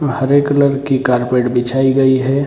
वह हरे कलर की कारपेट बिछाई गई है।